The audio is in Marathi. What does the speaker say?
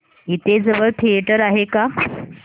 इथे जवळ थिएटर आहे का